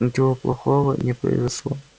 ничего плохого не произошло